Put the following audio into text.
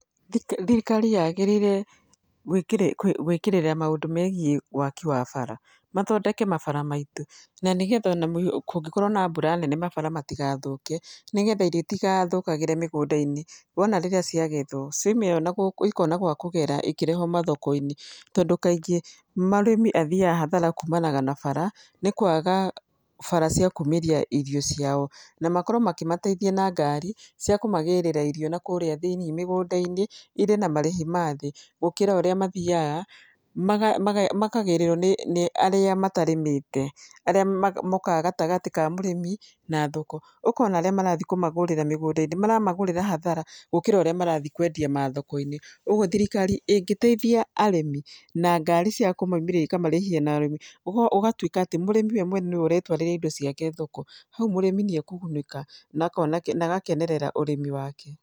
Thirikari yagĩrĩire gwĩkĩrĩra maũndũ megiĩ waki wa bara. Mathondeke mabara maitũ na nĩ getha ona kũngĩkorwo na mbura nene mabara matigathũke, nĩ getha irio itigathũkagĩre mĩgũnda-inĩ, wona rĩrĩa ciagethwo cioimĩra nagũkũ ikona gwa kũgera ikĩrehwo mathoko-inĩ tondũ kaingĩ mũrĩmi athiaga hathara kumanaga na bara nĩ kũaga bara cia kumĩria irio ciao. Na makorwo makĩmateithia na ngari cia kũmagĩrĩra irio na kũrĩa thĩiniĩ mĩgũnda-inĩ, igĩe na marĩhi ma thĩ, gũkĩra ũrĩa mathiaga makagíĩĩrũo nĩ arĩa matarĩmĩte, arĩa mokaga gatagatĩ ka mũrĩmi na thoko. Ũkona aríĩ marathi kũmagũrĩra mũgũnda-inĩ mara, agũrĩra hathara gũkĩra ũrĩa marathi kũendia mathoko-inĩ. Ũguo thirikari ĩngĩteithia arĩmi na ngari cia kũmaumĩria ikamarĩhia nathĩ ũgatuĩka atĩ mũrĩmi we mwene nĩwe ũretwarĩra indo ciake thoko, hau mũrĩmi nĩ ekũgunĩka na agakenerera ũrĩmi wake.